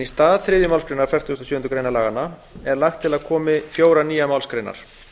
í stað þriðju málsgreinar fertugustu og sjöundu greinar laganna er lagt til að komi fjórar nýjar málsgreinar